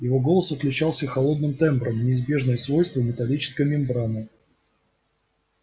его голос отличался холодным тембром неизбежное свойство металлической мембраны